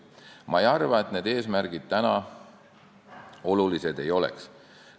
Ma ei arva, et need eesmärgid täna olulised ei oleks.